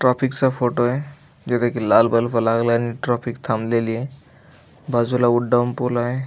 ट्रॉफीक चा फोटोय जिथे की लाल बल्ब लागलाय आणि ट्रॉफीक थांबलेलय बाजूला उड्डाणपूलय आहे.